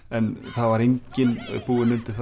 en það var enginn búinn undir